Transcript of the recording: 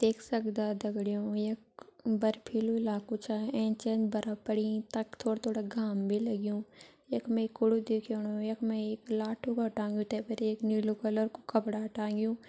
देख सक्दा दगड़ियों यख बर्फ़ीलु इलाकू छा एंच एंच बर्फ पड़ीं तख थोड़ा थोड़ा घाम भी लग्युं यख मा एक कड़ु दिखेणु यख मा एक लाठु कर टांगयु तै पर एक नीलू कलर कू कपड़ा टांगयु।